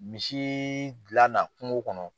Misi di l'a na kungo kɔnɔ.